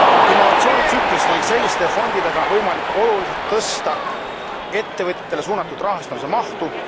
Innovatsioonitsüklis on selliste fondidega võimalik oluliselt tõsta ettevõtjatele suunatud rahastamise mahtu.